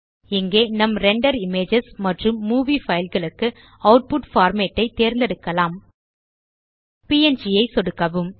இங்கே நம் render images மற்றும் மூவி பைல் களுக்கு ஆட்புட் பார்மேட் ஐ தேர்ந்தெடுக்கலாம் ப்ங் ஐ சொடுக்கவும்